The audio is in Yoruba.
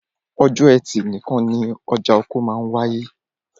Ọjọ́ ẹtì nìkan ni ọjà oko máa wááyé